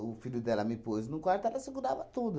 O filho dela me pôs num quarto, ela segurava tudo.